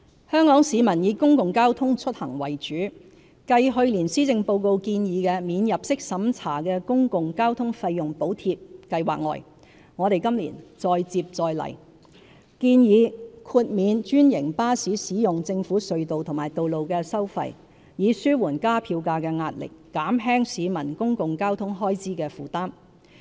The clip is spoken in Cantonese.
香港市民以公共交通出行為主，繼去年施政報告建議的"免入息審查的公共交通費用補貼計劃"外，我們今年再接再厲，建議豁免專營巴士使用政府隧道和道路的收費，以紓緩加票價的壓力，減輕市民公共交通開支的負擔。